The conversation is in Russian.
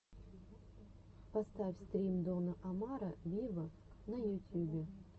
поставь стрим дона омара виво на ютюбе